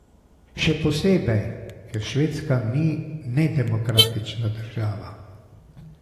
Še posebej, ker Švedska ni nedemokratična država.